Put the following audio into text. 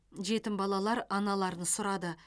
жетім балалар аналарын сұрады